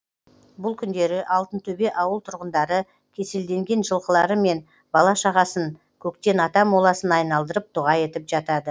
бұл күндері алтынтөбе ауыл тұрғындары кеселденген жылқылары мен бала шағасын көктен ата моласын айналдырып дұға етіп жатады